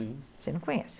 Você não conhece?